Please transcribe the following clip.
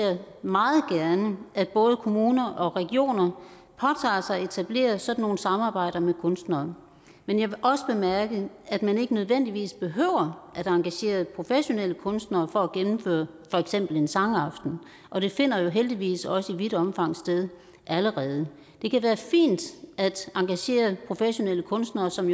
at både kommuner og regioner påtager sig at etablere sådan nogle samarbejder med kunstnerne men jeg vil også bemærke at man ikke nødvendigvis behøver at engagere professionelle kunstnere for at gennemføre for eksempel en sangaften og det finder jo heldigvis også i vidt omfang sted allerede det kan være fint at engagere professionelle kunstnere som